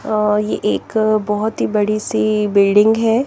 अ ये एक बहुत ही बड़ी सी बिल्डिंग है ।